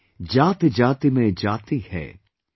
"जातिजाति में जाति है,